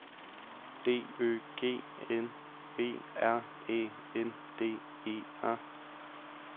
D Ø G N B R Æ N D E R